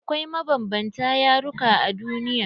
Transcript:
Akwai mabanbanta yaruka a duniya.